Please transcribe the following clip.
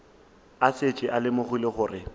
a šetše a lemogile gore